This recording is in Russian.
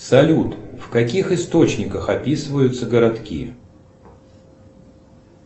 салют в каких источниках описываются городки